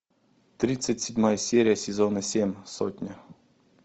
тридцать седьмая серия сезона семь сотня